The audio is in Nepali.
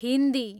हिन्दी